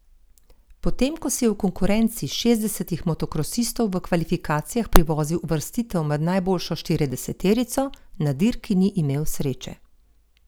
Potem ko si je v konkurenci šestdesetih motokrosistov v kvalifikacijah privozil uvrstitev med najboljšo štirideseterico, na dirki ni imel sreče.